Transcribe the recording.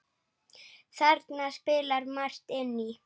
Þarna spilar margt inn í.